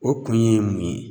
O kun ye mun ye?